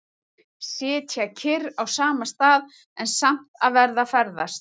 Sitja kyrr á sama stað, en samt að vera að ferðast.